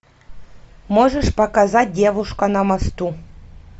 можешь показать девушка на мосту